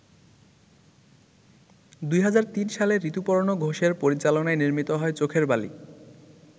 ২০০৩ সালে ঋতুপর্ণ ঘোষের পরিচালনায় নির্মিত হয় ‘চোখের বালি’।